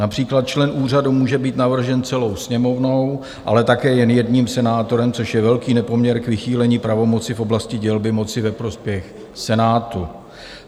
Například člen úřadu může být navržen celou Sněmovnou, ale také jen jedním senátorem, což je velký nepoměr k vychýlení pravomoci v oblasti dělby moci ve prospěch Senátu.